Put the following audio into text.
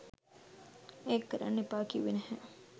ඒක කරන්න එපා කිව්වේ නැහැ.